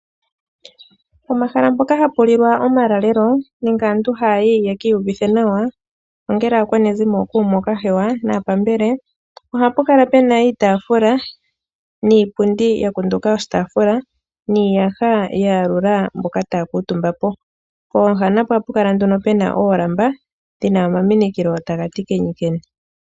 Pomahala mpoka hapulilwa omaulalelo nenge aantu haa yi yekiiyuvithe nawa ongele aakwanezimo, ookume, ookahewa naapambele, ohapu kala puna iitaafula niipundi yakunduka oshitaafula niiyaha ya yalula mboka taa kuutumba po. Pooha napo ohapu kala puna oolamba dhina omaminikilo taga ti kenyukenyu.